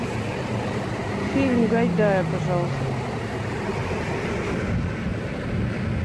фильм гайдая пожалуйста